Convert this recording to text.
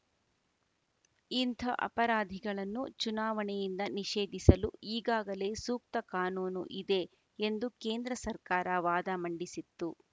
ಇಂಥ ಅಪರಾಧಿಗಳನ್ನು ಚುನಾವಣೆಯಿಂದ ನಿಷೇಧಿಸಲು ಈಗಾಗಲೇ ಸೂಕ್ತ ಕಾನೂನು ಇದೆ ಎಂದು ಕೇಂದ್ರ ಸರ್ಕಾರ ವಾದ ಮಂಡಿಸಿತ್ತು